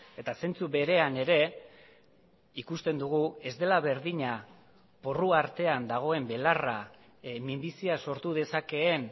eta zentzu berean ere ikusten dugu ez dela berdina porru artean dagoen belarra minbizia sortu dezakeen